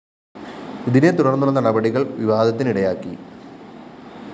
ഇതിനെ തുടര്‍ന്നുള്ള നടപടികള്‍ വിവാദത്തിനിടയാക്കി